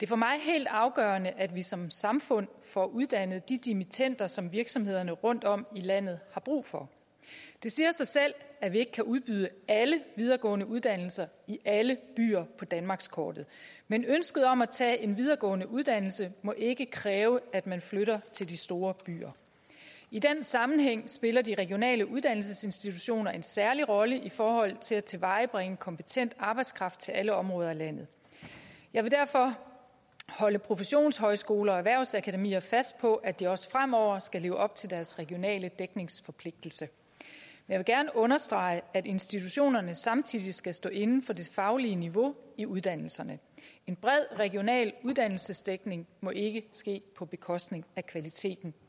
for mig helt afgørende at vi som samfund får uddannet de dimittender som virksomhederne rundtom i landet har brug for det siger sig selv at vi ikke kan udbyde alle videregående uddannelser i alle byer på danmarkskortet men ønsket om at tage en videregående uddannelse må ikke kræve at man flytter til de store byer i den sammenhæng spiller de regionale uddannelsesinstitutioner en særlig rolle i forhold til at tilvejebringe kompetent arbejdskraft til alle områder af landet jeg vil derfor holde professionshøjskoler og erhvervsakademier fast på at de også fremover skal leve op til deres regionale dækningsforpligtelse jeg vil gerne understrege at institutionerne samtidig skal stå inde for det faglige niveau i uddannelserne en bred regional uddannelsesdækning må ikke ske på bekostning af kvaliteten